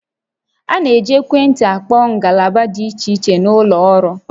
A na-eji ekwentị akpọ ngalaba dị iche iche n'ụlọ ọrụ